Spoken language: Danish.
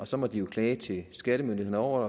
så må de klage til skattemyndighederne over